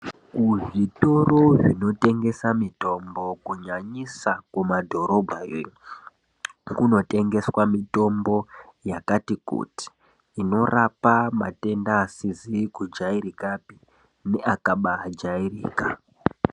Kuzvitoro zvinotengesa mitombo kunyanyisa kumadhorobhayo iyo, kunotengeswa mitombo yakati kuti, inorapa matenda asizi kujairikapi neakaba jairika.